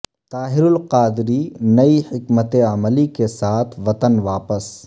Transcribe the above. طاہر القادری نئی حکمت عملی کے ساتھ وطن واپس